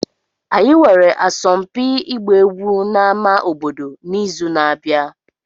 Anyị nwere asọmpi ịgba egwu n'ámá obodo n'izu na-abịa.